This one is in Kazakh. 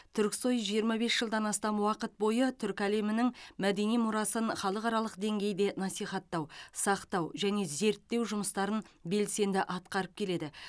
түрксой жиырма бес жылдан астам уақыт бойы түркі әлемінің мәдени мұрасын халықаралық деңгейде насихаттау сақтау және зерттеу жұмыстарын белсенді атқарып келеді